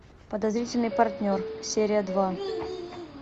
подозрительный партнер серия два